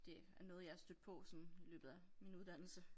Det er noget jeg er stødt på sådan i løbet af min uddannelse